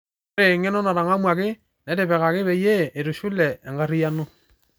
Ore engeno natangamuaki neitipikaki peyie eitushule enkariano